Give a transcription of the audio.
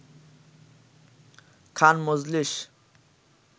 খান মজলিস